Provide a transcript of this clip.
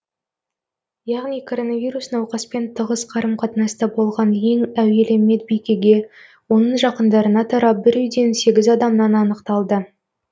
яғни коронавирус науқаспен тығыз қарым қатынаста болған ең әуелі медбикеге оның жақындарына тарап бір үйден сегіз адамнан анықталды